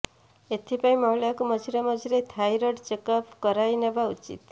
ଏଥିପାଇଁ ମହିଳାଙ୍କୁ ମଝିରେ ମଝିରେ ଥାଇରଏଡ଼ ଚେକଅପ୍ କରାଇନେବା ଉଚିତ୍